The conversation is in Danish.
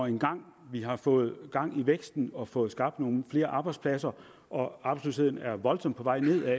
engang har fået gang i væksten og fået skabt nogle flere arbejdspladser og arbejdsløsheden er voldsomt på vej nedad